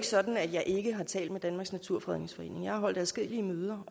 sådan at jeg ikke har talt med danmarks naturfredningsforening jeg har holdt adskillige møder